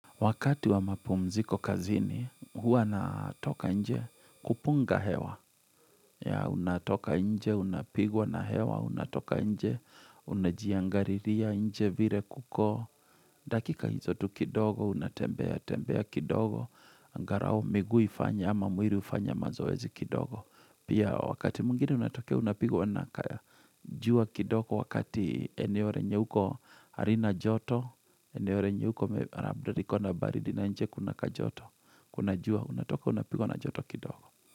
Wakati wa mapumziko kazini, huwa natoka nje kupunga hewa. Ya, unatoka nje, unapigwa na hewa, unatoka nje, unajiangariria nje vire kuko. Dakika hizo tu kidogo, unatembea, tembea kidogo. Angarao, miguu ifanye, ama mwiri ufanya mazoezi kidogo. Pia, wakati mwingine unatoka unapigwa na kaya. Jua kidogo wakati eneo renye uko harina joto, eneo renye uko labda likona baridi na nje kuna kajoto. Kuna jua, unatoka, unapigwa na joto kidogo.